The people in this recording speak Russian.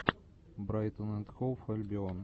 брайтон энд хоув альбион